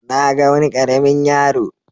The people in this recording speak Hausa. Na ga wani ƙaramin yaro.